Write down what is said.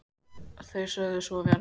Þeir sögðu svo vera